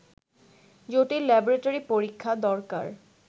জটিল ল্যাবরেটরি পরীক্ষা দরকার